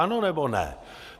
Ano, nebo ne?